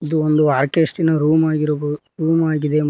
ಇದು ಒಂದು orchestra room ಆಗಿರಬಹು ರೂಮ್ ಆಗಿದೆ ಮತ್ತು --